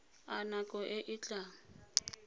a nako e e tlang